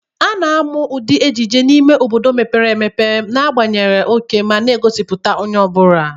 A na-amụ ụdị ejiji n'ime obodo mepere emepe, na-agbanye oke ma na-egosipụta onye ọ bụla.